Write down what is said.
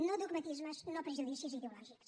no dogmatismes no prejudicis ideològics